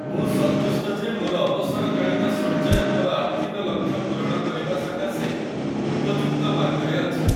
ମୁଁ ସନ୍ତୁଷ୍ଟ ଯେ ମୋର ଅବସରକାଳୀନ ସଞ୍ଚୟ ମୋର ଆର୍ଥିକ ଲକ୍ଷ୍ୟ ପୂରଣ କରିବା ସକାଶେ ଉପଯୁକ୍ତ ମାର୍ଗରେ ଅଛି।